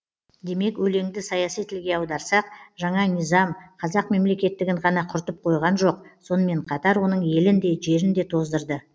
демек өлеңді саяси тілге аударсақ жаңа низам қазақ мемлекеттігін ғана құртып қойған жоқ сонымен қатар оның елін де жерін де тоздырды